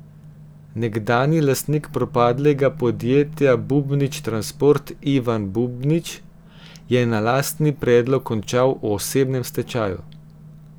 Nekdanji lastnik propadlega podjetja Bubnič Transport Ivan Bubnič je na lastni predlog končal v osebnem stečaju.